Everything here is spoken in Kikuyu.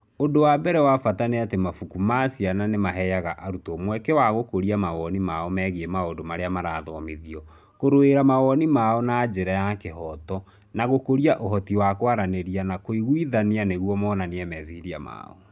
Ũndũ wa mbere wa bata nĩ atĩ mabuku ma ciana nĩ maheaga arutwo mweke wa gũkũria mawoni mao megiĩ maũndũ marĩa marathomithananio, kũrũĩrĩra mawoni mao na njĩra ya kĩhooto, na gũkũria ũhoti wa kwaranĩria na kũiguithania nĩguo monanie meciria mao.